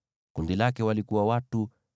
Kundi lake lina watu 41,500.